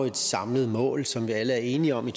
et samlet mål som vi alle er enige om i